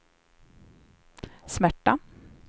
smärta